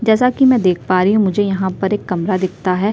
जैसा की मै देख पा रही हूँ मुझे यहाँ पे एक कमरा दिखता हैं।